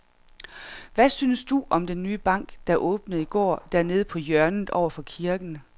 Hvad synes du om den nye bank, der åbnede i går dernede på hjørnet over for kirken?